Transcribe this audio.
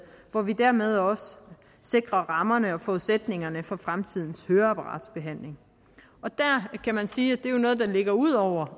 hvor vi dermed også sikrer rammerne og forudsætningerne for fremtidens høreapparatbehandling der kan man sige at det er noget der ligger ud over